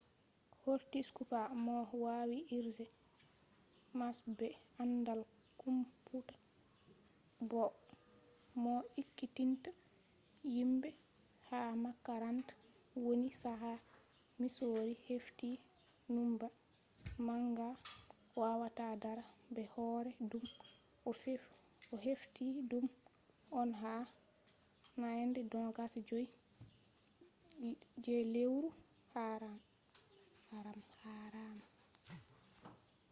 kortis kupa mo wawi irge mas be andal komputa boo mo ekkitinta himɓe ha makaranta woni chaka misori hefti numba manga wawata dara be hore ɗum. o hefti ɗum on ha nyande 25 je lewru haaram